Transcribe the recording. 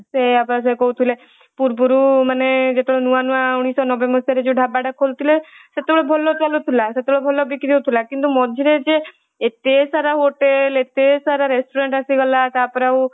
ସେଇଆ ପା ସେ କହୁଥିଲେ ପୂର୍ବରୁ ମାନେ ଯେତେବେଳେ ନୂଆ ନୂଆ ଉଣେଇଶହ ନବେ ମସିହାରେ ଯୋଉ ଢାବା ଟା ଖୋଲିଥିଲେ ସେତେବେଳେ ଭଲ ଚାଲୁଥିଲା। ସେତେବେଳେ ଭଲ ବିକ୍ରି ହେଉଥିଲା। କିନ୍ତୁ ମଝିରେ ଯେ ଏତେ ସାରା hotel ଏତେ ସାରା restaurant ଆସିଗଲା ତାପରେ ଆଉ